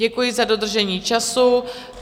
Děkuji za dodržení času.